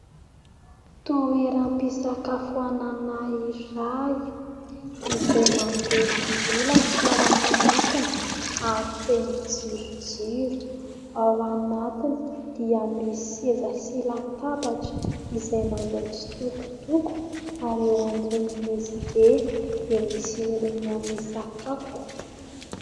Toeram-pisakafoanana iray izay manjelanjelatra ao anatiny ary feno jirojiro. Ao anatiny dia misy seza sy latabatra izay manao tsitokotoko ary eo ambonin'izy ireny dia misy olona misakafo.